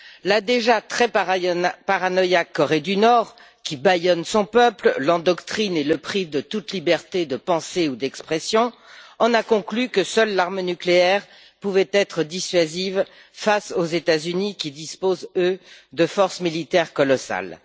La déjà très paranoïaque Corée du Nord, qui bâillonne son peuple, l'endoctrine et le prive de toute liberté de pensée ou d'expression, en a conclu que seule l'arme nucléaire pouvait être dissuasive face aux États Unis, qui disposent, eux, de forces militaires colossales.